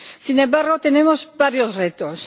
Sin embargo, tenemos varios retos.